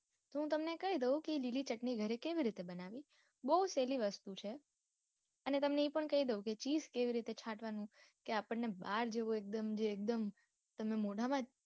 તો હું તમને કઈ દઉં કે લીલી ચટણી ગરે કેવી રિતે બનાવી બૌ સેલી વસ્તુ છે. અને તમને એ પણ કઈ દઉં cheese કેવી રીતે છાટવાનું કે આપણ ને બાર જેવો એક દમ જે એક દમ તમને મોઢા માં જે